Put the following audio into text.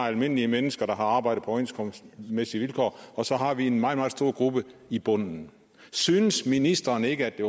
almindelige mennesker der har arbejdet på overenskomstmæssige vilkår og så har vi en meget meget stor gruppe i bunden synes ministeren ikke at det